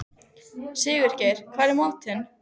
Sigurgeir, hvað er í matinn?